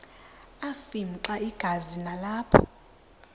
afimxa igazi nalapho